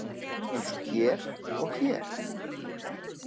Eins og hér og hér.